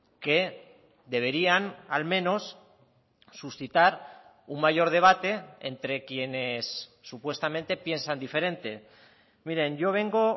que deberían al menos suscitar un mayor debate entre quienes supuestamente piensan diferente miren yo vengo